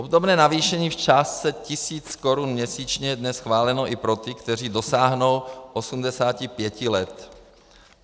Obdobné navýšení v částce 1 000 Kč měsíčně je dnes schváleno i pro ty, kteří dosáhnou 85 let.